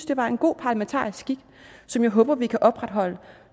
det var en god parlamentarisk skik som jeg håber vi kan opretholde